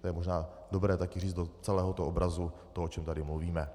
To je možná dobré také říct do celého toho obrazu toho, o čem tady mluvíme.